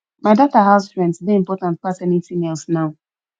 my daughter house rent dey important pass anything else now